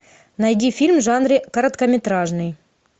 найди фильм в жанре короткометражный